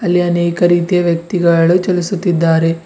ಇಲ್ಲಿ ಅನೇಕ ರೀತಿಯ ವ್ಯಕ್ತಿಗಾಳು ಚಲಿಸುತ್ತಿದಾರೆ.